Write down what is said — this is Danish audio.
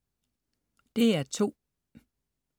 DR2: